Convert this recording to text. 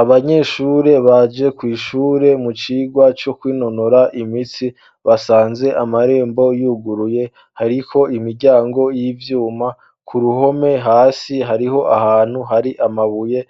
Abanyeshure baje kw'ishure mu cirwa co kwinonora imitsi basanze amarembo yuguruye hariho imiryango y'ivyuma ku ruhome hasi hariho ahantu hari amabuye